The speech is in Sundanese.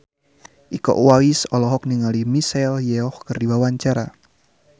Iko Uwais olohok ningali Michelle Yeoh keur diwawancara